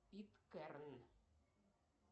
пэт кэрролл